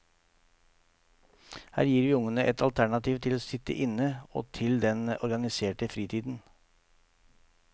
Her gir vi ungene et alternativ til å sitte inne, og til den organiserte fritiden.